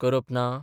करप ना?